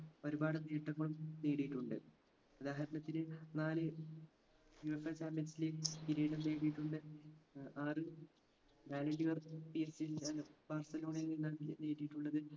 ഒരുപാട് നേട്ടങ്ങളും നേടിയിട്ടുണ്ട് ഉദാഹരണത്തിന് നാല് UEFA champions league കിരീടം നേടിയിട്ടുണ്ട് ഏർ ആറ് ballon dor ബാർസലോണയിൽ നിന്നാണ് നേടിയിട്ടുള്ളത്